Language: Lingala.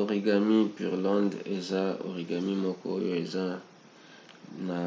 origami pureland eza origami moko oyo eza na